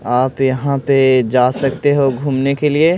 आप यहां पे जा सकते हो घूमने के लिए--